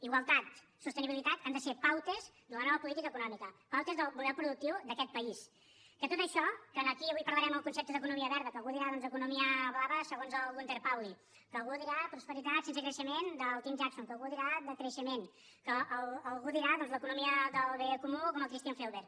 igualtat sostenibilitat han de ser pautes de la nova política econòmica pautes del model productiu d’aquest país que tot això que aquí avui parlarem el concepte d’economia verda que algú dirà doncs economia blava segons el gunter pauli que algú dirà prosperitat sense creixement del tim jackson que algú dirà decreixement que algú dirà doncs l’economia del bé comú com el christian felber